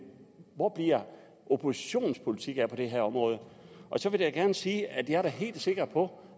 hvor bliver oppositionens politik af på det her område så vil jeg gerne sige at jeg da er helt sikker på